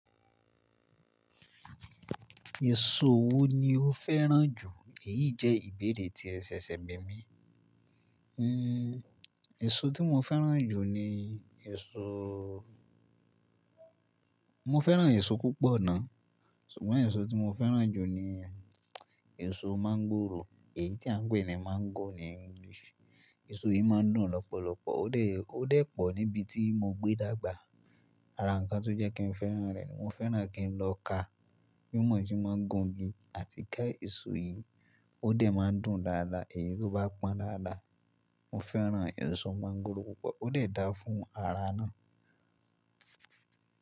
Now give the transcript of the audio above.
Èso wo ni o fẹ́ràn jù? Èyí jẹ́ ìbéèrè tí ẹ ṣẹ̀ṣẹ̀ gbìn mí. Hmm èso tí mo fẹ́ràn jù ni èso Mo fẹ́ràn èso púpọ̀ ná. Ṣùgbọ́n èso tí mo fẹ́ràn jù ni èso mọ́ńgòrò. Èyí tí à ń pè ní mango ní geesi. Èso yìí má ń dùn lọ́pọ̀lọpọ̀. Ó dẹ̀, ó dẹ̀ pọ̀ níbi tí mo gbé dàgbà. Ara ǹkan tó jẹ́ kí n fẹ́ràn rẹ̀ ni mo fẹ́ràn kí n lọ ká. Bí ó mọ̀ọ́, mo máa gun igi àti ká èso yìí. Ó dẹ̀ má ń dùn dáadáa èyí tó bá pọ́n dáadáa. Mo fẹ́ràn èso mọ́ńgòrò púpọ̀. Ó dẹ̀ dá fún ara náà.